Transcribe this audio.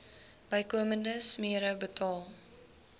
bykomende smere betaal